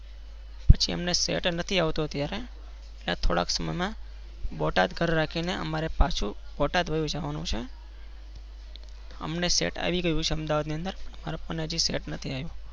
પછી અમને સેટ નથી આવતો અત્યારે ત્યારે થોડા સમય માં બોટાદ ઘર રાખી ને અમારે પાછુ બોટાદ વાયી જવા નું છે.